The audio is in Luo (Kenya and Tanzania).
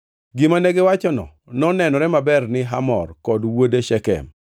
Gima negiwachono nonenore maber ne Hamor kod wuode Shekem.